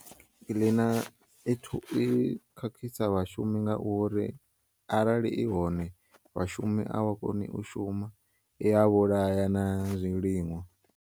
Kiḽina ithu ikhakhisa vhashumi ngauri arali ihone, vhashumi avha koni ushuma, iyavhulaya na zwiliṅwa.